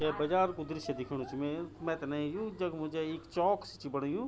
ये बाजार कु दृशय दिख्योणु च मै मैथे न यू जगो मा जेई इक चौक सी च बणयू।